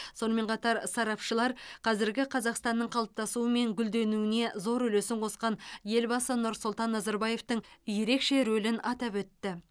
сонымен қатар сарапшылар қазіргі қазақстанның қалыптасуы мен гүлденуіне зор үлесін қосқан елбасы нұрсұлтан назарбаевтың ерекше рөлін атап өтті